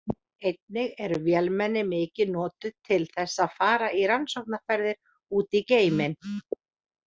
Einnig eru vélmenni mikið notuð til þess að fara í rannsóknarferðir út í geiminn.